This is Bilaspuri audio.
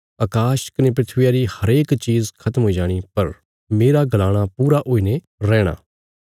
अकाश कने धरतिया री हरेक चीज़ खत्म हुई जाणी पर मेरा गलाणा पूरा हुईने रैहणा